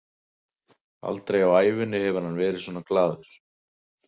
Aldrei á ævinni hefur hann verið svona glaður.